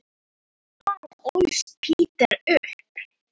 Þar ólst Peder upp.